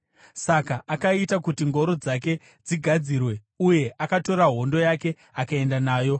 Saka akaita kuti ngoro dzake dzigadzirwe uye akatora hondo yake akaenda nayo.